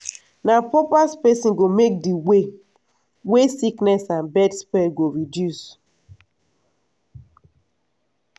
na proper spacing go help make di way wey sickness and bird spread go reduce.